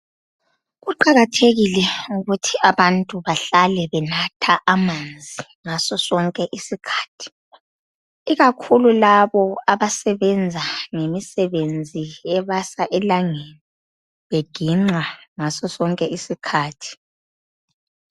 Kuqakathekile ukuthi abantu bahlale benatha amanzi ngaso sonke isikhathi. Ikakhulu labo abasebenza ngemisebenzi ebasa elangeni, beginqa ngaso sonke isikhathi.